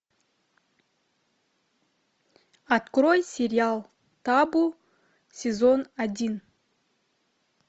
открой сериал табу сезон один